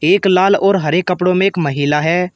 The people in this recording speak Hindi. एक लाल और हरे कपड़ों में एक महिला है।